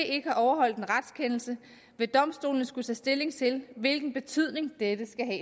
ikke har overholdt en retskendelse vil domstolene skulle tage stilling til hvilken betydning dette skal